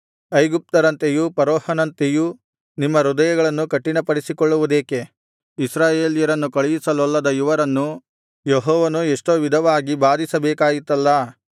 ಐಗುಪ್ತರಂತೆಯೂ ಫರೋಹನಂತೆಯೂ ನಿಮ್ಮ ಹೃದಯಗಳನ್ನು ಕಠಿಣಪಡಿಸಿಕೊಳ್ಳುವುದೇಕೆ ಇಸ್ರಾಯೇಲ್ಯರನ್ನು ಕಳುಹಿಸಲೊಲ್ಲದ ಇವರನ್ನು ಯೆಹೋವನು ಎಷ್ಟೋ ವಿಧವಾಗಿ ಬಾಧಿಸಬೇಕಾಯಿತಲ್ಲಾ